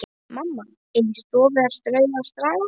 Mamma inni í stofu að strauja og staga.